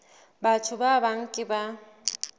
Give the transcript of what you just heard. batho ba bang ke ba